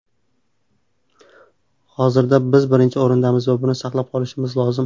Hozirda biz birinchi o‘rindamiz va buni saqlab qolishimiz lozim.